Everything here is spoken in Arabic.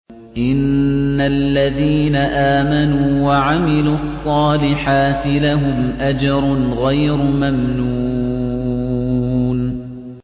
إِنَّ الَّذِينَ آمَنُوا وَعَمِلُوا الصَّالِحَاتِ لَهُمْ أَجْرٌ غَيْرُ مَمْنُونٍ